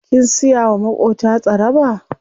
Kin siya wa maƙota tsaraba?